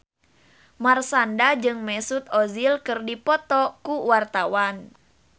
Marshanda jeung Mesut Ozil keur dipoto ku wartawan